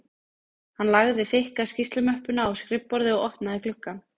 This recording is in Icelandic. Hann lagði þykka skýrslumöppuna á skrifborðið og opnaði gluggann